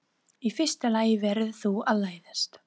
Í fyrsta lagi verður þú að læðast.